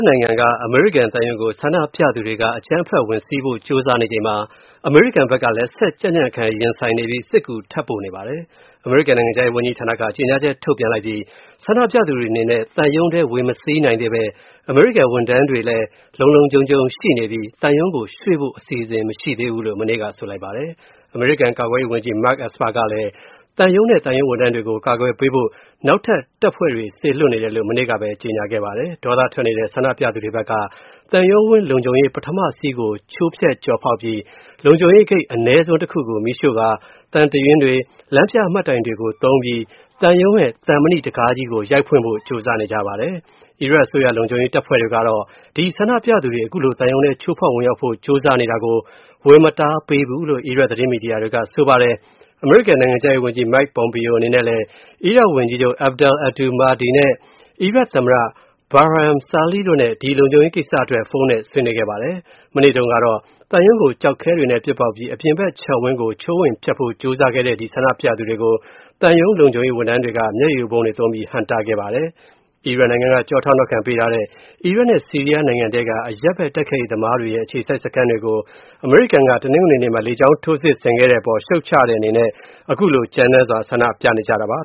နိုင်ငံက အမေရိကန်သံရုံးကို ဆန္ဒပြသူတွေက အကြမ်းဖက်ဝင်စီးဖို့ ကြိုးစားနေချိန်မှာ အမေရိကန်ဘက်ကလည်း ဆက်ကြံ့ကြံ့ခံရင်ဆိုင်ပြီး၊ စစ်ကူထပ်ပို့နေပါတယ်။ အမေရိကန် နိုင်ငံခြားရေးဝန်ကြီးဌာနက ကြေညာချက်ထုတ်ပြန်ပြီး ဆန္ဒပြသူတွေအနေနဲ့ သံရုံးထဲ ဝင်မစီးနိုင်သေးဘဲ အမေရိကန် ဝန်ထမ်းတွေအနေနဲ့ လုံလုံခြုံခြုံရှိနေပြီး သံရုံးကို ရွေ.ဖို့ မရှိသေးဘူးလို့ မနေ့က ဆိုပါတယ်။ အမေရိကန် ကာကွယ်ရေးဝန်ကြီး Mark Esper ကလည်း သံရုံးနဲ့ သံရုံးဝန်ထမ်းတွေကို ကာကွယ်ပေးဖို့ နောက်ထပ် တပ်ဖွဲတွေ စေလွှတ်နေတယ်လို့ မနေ့ကပဲ ကြေညာခဲ့ပါတယ်။ ဒေါသထွက်နေတဲ့ ဆန္ဒပြသူတွေဖက်က သံရုံးဝင်း လုံခြုံရေး ပထမစီးကို ချိုးဖျက် ကျော်ဖောက်ပြီး လုံခြုံရေးဂိတ် အနည်းဆုံး တစ်ခုကို မီးရှို့ကာ သံတရွင်းတွေ လမ်းပြ မှတ်တိုင်တွေကို သုံးပြီး သံရုံးရဲ့ သံမဏိတံခါးကြီးကို ရိုက်ဖွင့်ဖို့ ကြိုးစားနေကြပါတယ်။ အီရတ်အစိုးရ လုံခြုံရေးတပ်ဖွေဲတွေကတော့ ဒီဆန္ဒပြသူတွေ ခုလို သံရုံးထဲ ချိုးဖောက် ဝင်ရောက်ဖို့ ကြိုးစားတာကို ဝင်မတားပေးဘူးလို့ အီရတ် သတင်းမီဒီယာတွေက ဆိုပါတယ်။ အမေရိကန် နိုင်ငံခြားရေးဝန်ကြီး Mike Pompeo အနေနဲ့လည်း အီရတ်ဝန်ကြီးချုပ် Abdel Abdul Mahdi နဲ့ အီရတ်သမ္မတ Barham Salih တို့နဲ့ ဒီလုံခြုံရေးကိစ္စအတွက် ဖုန်းနဲ့ ဆွေးနွေးခဲ့ပါတယ်။ မနေ့တုံးကတော့ သံရုံးကို ကျောက်ခဲတွေနဲ့ ပစ်ပေါက်ပြီး၊ အပြင်ဘက် ခြံဝင်းကို ချိုးဖျက် ဝင်ဖို့ ကြိုးစားတဲ့ ဒီ ဆန္ဒပြသူတွေကို သံရုံးလုံခြုံရေးဝန်ထမ်းတွေက မျက်ရည်ယိုဗုံးတွေ သုံးပြီး ဟန့်တားခဲ့ကြပါတယ်။ အီရန်နိုင်ငံက ကျောထောက်နောက်ခံပေးထားတဲ့ အီရတ် နဲ့ဆီးရီးယား နိုင်ငံထဲက အရပ်ဘက် တိုက်ခိုက်ရေးသမားတွေရဲ့ အခြေစိုက်စခန်းတွေကို၊ အမေရိကန်က တနင်္ဂနွေနေ့မှာ လေကြောင်း ထိုးစစ်ဆင်ခဲ့တဲ့အပေါ် ရှုတ်ချတဲ့အနေနဲ့ ခုလို ကြမ်းတမ်းစွာ ဆန္ဒပြနေတာပါ